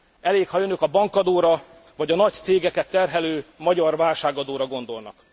Elég, ha önök a bankadóra vagy a nagy cégeket terhelő magyar válságadóra gondolnak.